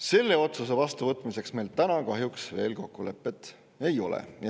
Selle otsuse vastuvõtmiseks meil kahjuks veel kokkulepet ei ole.